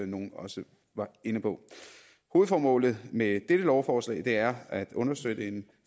nogle også var inde på hovedformålet med dette lovforslag er at understøtte en